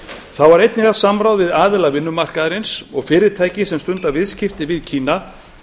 þá var einnig haft samráð við aðila vinnumarkaðarins og fyrirtæki sem stunda viðskipti við kína